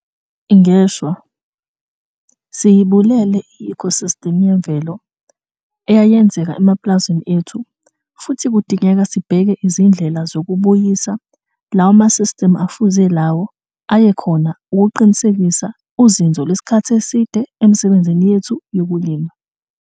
Ngeshwa, siyibulele i-eco-system yemvelo eyayenzeka emapulazini ethu futhi kudingeka sibheke izindlela zokubuyisa lokho lawo ma-system afuze lawo ayekhona ukuqinisekisa uzinzo lwesikhathi eside emisebenzini yethu yokulima.